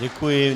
Děkuji.